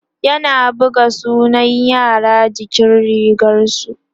yana buga sunan yara jikin rigarsu